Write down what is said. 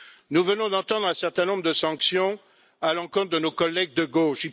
Nous venons d'entendre un certain nombre de sanctions à l'encontre de nos collègues de gauche.